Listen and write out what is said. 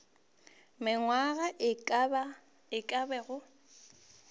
mengwaga ye e ka bago